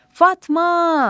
Fatma!